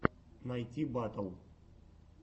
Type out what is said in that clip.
найти батл